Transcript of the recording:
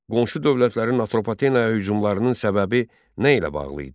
Qonşu dövlətlərin Atropatenaya hücumlarının səbəbi nə ilə bağlı idi?